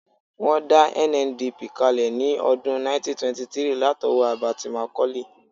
Wọ́n dá NNDP kalẹ̀ ní ọdún 1923 látọwọ́ Herbert Macaulay